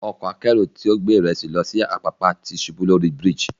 Ọkọ̀ akẹ́rù tí ó gbé ìrẹsì lọ sí Apapa ti ṣubú lórí brifge.